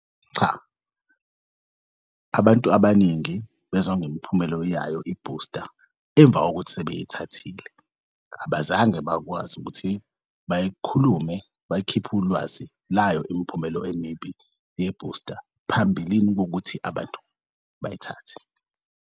Cha, abantu abaningi bezwa ngemiphumelo yayo i-booster emva kokuthi sebeyithathile abazange bakwazi ukuthi bay'khulume bayikhiph'ulwazi layo imiphumela emibi ye-booster phambilini kuwukuthi abantu bayithathe.